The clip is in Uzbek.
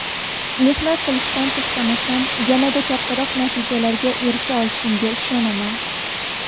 Mehnat qilishdan to‘xtamasam, yanada kattaroq natijalarga erisha olishimga ishonaman.